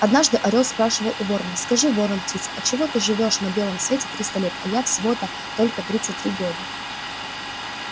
однажды орёл спрашивал у ворона скажи ворон-птица отчего живёшь ты на белом свете триста лет а я всего-то только тридцать три года